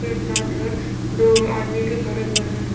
एक साथ है दो आदमी भी खड़े हुए हैं।